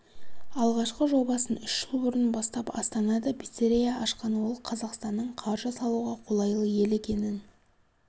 алғашқы жобасын үш жыл бұрын бастап астанада пиццерия ашқан ол қазақстанның қаржы салуға қолайлы ел екенін